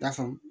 Ta faamu